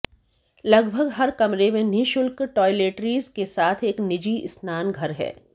लगभग हर कमरे में निःशुल्क टॉयलेटरीज़ के साथ एक निजी स्नानघर है